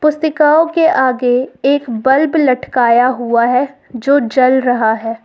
के आगे एक बल्ब लटकाया हुआ है जो जल रहा है।